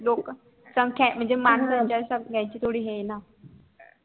लोक लोकसंख्या म्हणजे माणसाच्या संखे नि थोडी नं येणार